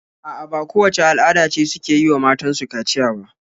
A'a, ba kowacce al'ada ce suke yi wa matan su kaciya ba.